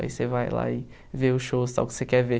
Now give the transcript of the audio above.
Aí você vai lá e vê o show, esse tal, que você quer ver.